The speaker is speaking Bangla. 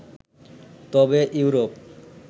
তবে ইউরোপ